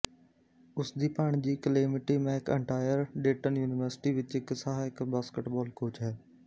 ਉਸ ਦੀ ਭਾਣਜੀ ਕਲੇਮਿਟੀ ਮੈਕਅੰਟਾਇਰ ਡੇਟਨ ਯੂਨੀਵਰਸਿਟੀ ਵਿੱਚ ਇੱਕ ਸਹਾਇਕ ਬਾਸਕਟਬਾਲ ਕੋਚ ਹੈ